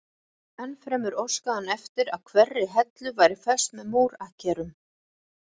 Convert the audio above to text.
Ennfremur óskaði hann eftir að hverri hellu væri fest með múr akkerum.